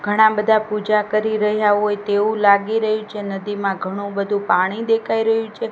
ઘણા બધા પૂજા કરી રહ્યા હોય તેવું લાગી રહ્યું છે નદીમાં ઘણું બધું પાણી દેખાય રહ્યું છે.